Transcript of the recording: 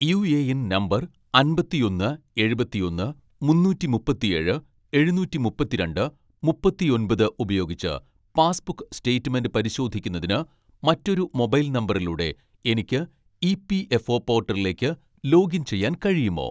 UAN number അമ്പത്തിയൊന്ന് എഴുപത്തിയൊന്ന് മുന്നൂറ്റിമുപ്പത്തിയേഴ് എഴുനൂറ്റിമുപ്പത്തിരണ്ട്‍ മുപ്പത്തിയൊമ്പത് ഉപയോഗിച്ച് പാസ്ബുക്ക് സ്റ്റേറ്റ്മെന്റ് പരിശോധിക്കുന്നതിന് മറ്റൊരു മൊബൈൽ നമ്പറിലൂടെ എനിക്ക് ഇ.പി.എഫ്.ഒ പോർട്ടലിലേക്ക് ലോഗിൻ ചെയ്യാൻ കഴിയുമോ